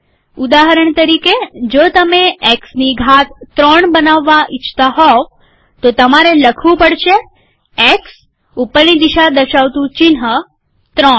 ઉદાહરણ તરીકે જો તમે એક્સની ઘાત ૩ બનાવવા ઈચ્છતા હોવ તો તમારે લખવું પડશે એક્સ ઉપરની દિશા દર્શાવતું ચિહ્ન ૩